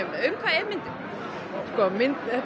um hvað er myndin þetta er